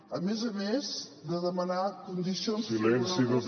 a més a més de demanar condicions favorables